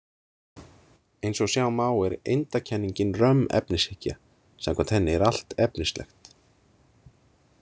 Eins og sjá má er eindakenningin römm efnishyggja, samkvæmt henni er allt efnislegt.